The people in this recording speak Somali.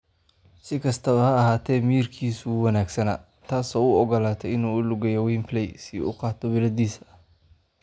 Si kastaba ha ahaatee, miyirkiisu wuu wanaagsanaa taas oo u ogolaatay inuu u lugeeyo Wembley si uu u qaato biladdiisa.